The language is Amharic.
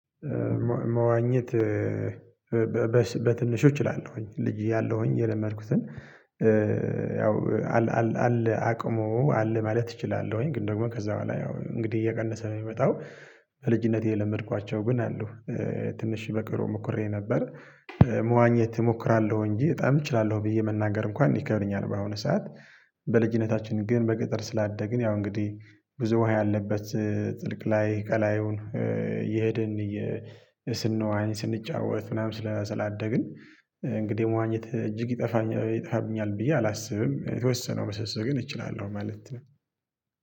መዋኘት በትንሹ እችላለሁኝ ልጅ ያለሁኝ የለመድኩትን ያው አለ አቅሙ አለ ማለት እችላለሁኝ ግን ደግሞ ከዛ በኋላ ያው እንግዲህ እየቀነሰ ነው የሚመጣው። በልጅነቴ የለመድኳቸው ግን አሉ። ትንሽ በቅርቡ ሞክሬ ነበር። መዋኘት እሞክራለሁ እንጂ በጣም እችላለሁ ብዬ መናገር እንኳን ይከብደኛል። በአሁኑ ሰዓት። በልጅነታችን ግን በገጠር ስላደግን ያው እንግዲህ ብዙ ውሃ ያለበት ጥልቅ ላይ ቀላዩን እየሄድን ስንዋኝ ስንጫወት ምናምን ስላደግን። እንግዲህ መዋኘት እጅግ ይጠፋኛል ይጠፋብኛል ብዬ አላስብም የተወሰነው መሰሰህ ግን እችላለሁ ማለት ነው።